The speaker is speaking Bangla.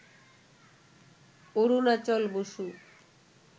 অরুণাচল বসু,